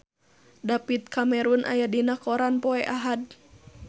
David Cameron aya dina koran poe Ahad